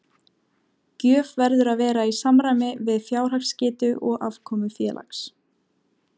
Gjöf verður að vera í samræmi við fjárhagsgetu og afkomu félags.